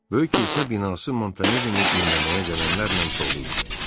Böyük kilsə binası Montanellini dinləməyə gələnlərlə dolu idi.